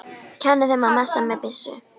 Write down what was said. Kenni þeim að messa með byssu?